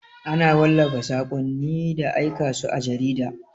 Ana wallafa saƙonni da aika su a jarida.